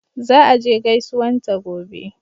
Za a je gaisuwan ta gobe